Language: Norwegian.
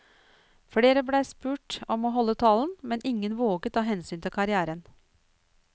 Flere ble spurt om å holde talen, men ingen våget av hensyn til karrièren.